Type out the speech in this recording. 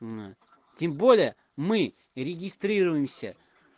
тем более мы регистрируемся